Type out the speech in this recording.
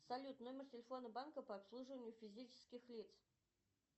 салют номер телефона банка по обслуживанию физических лиц